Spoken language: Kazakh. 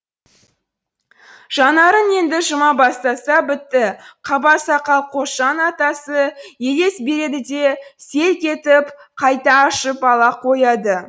жанарын енді жұма бастаса бітті қаба сақал қосжан атасы елес береді де селк етіп қайта ашып ала қояды